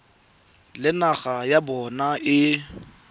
le naga ya bona e